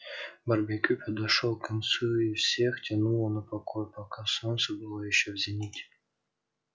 барбекю подошёл к концу и всех тянуло на покой пока солнце было ещё в зените